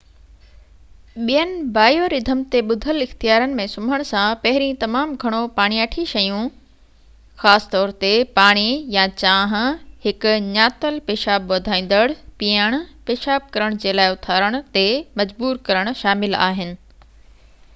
ٻين biorhythm تي ٻڌل اختيارن ۾ سمهڻ سان پهرين تمام گهڻو پاڻياٺي شيون خاص طور تي پاڻي يا چانهہ، هڪ ڃاتل پيشاب وڌايندڙ پيئڻ، پيشاب ڪرڻ جي لاءِ اٿارڻ تي مجبور ڪرڻ شامل آهن